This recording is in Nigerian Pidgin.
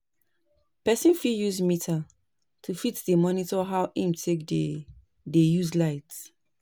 Person fit use meter to fit dey monitor how im take dey dey use light